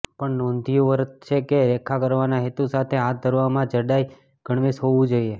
પણ નોંધ્યું વર્થ છે કે રેખા કરવાના હેતુ સાથે હાથ ધરવામાં જાડાઇ ગણવેશ હોવું જોઈએ